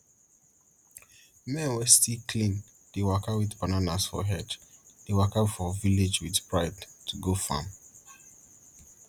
men wey still clean dey waka with banana for head dey waka for village with pride to go farm